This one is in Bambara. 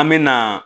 An me na